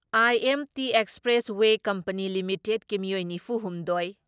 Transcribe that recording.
IMT expressway company ꯂꯤꯃꯤꯇꯦꯠꯀꯤ ꯃꯤꯑꯣꯏ ꯅꯤꯐꯨ ꯍꯨꯝꯗꯣꯏ